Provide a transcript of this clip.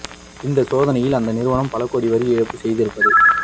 இந்தச் சோதனையில் அந்த நிறுவனம் பல கோடி வரி ஏய்ப்பு செய்திருப்பது